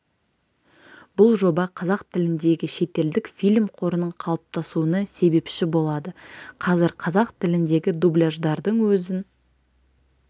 бұл жоба қазақ тіліндегі шетелдік фильм қорының қалыптасуына себепші болады қазір қазақ тіліндегі дубляждардың өзін